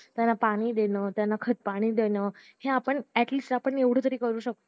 त्यांना पाणी देणं त्यांना खतपाणी देणं हे आपण at least आपण एवढं तरी करू शकतो